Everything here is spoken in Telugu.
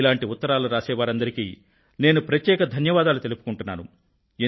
ఇలాంటి ఉత్తరాలు రాసే వారందరికీ నేను ప్రత్యేక ధన్యవాదాలు తెలుపుకుంటున్నాను